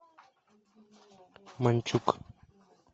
манчук